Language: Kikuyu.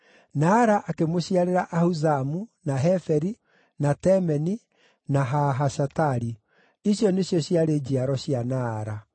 Naara akĩmũciarĩra Ahuzamu, na Heferi, na Temeni, na Haahashatari. Icio nĩcio ciarĩ njiaro cia Naara.